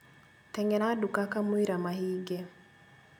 Teng'era nduka kamũira mahinge